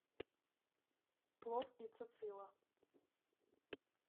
плов и цицила